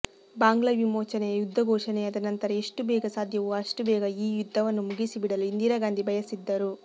ಬಾಂಗ್ಲಾ ವಿಮೋಚನೆಯ ಯುದ್ಧ ಘೋಷಣೆಯಾದ ನಂತರ ಎಷ್ಟು ಬೇಗ ಸಾಧ್ಯವೋ ಅಷ್ಟು ಬೇಗ ಈ ಯುದ್ಧವನ್ನು ಮುಗಿಸಿಬಿಡಲು ಇಂದಿರಾಗಾಂಧಿ ಬಯಸಿದ್ದರು